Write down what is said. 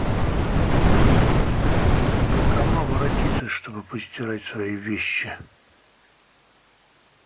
к кому обратиться чтобы постирать свои вещи